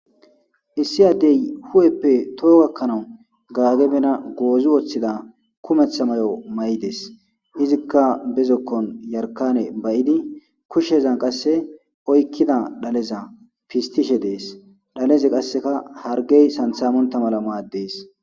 issi addey hu'eppe toha gakkana gagge bena goozi woththidda kumeeththa may'o may'idees izikka bezokkon yarkane ba'idi kushshezan qasse oykidda dhaleza pistiishshe dees dhaleze qassekka hargey sanththa montta mala madees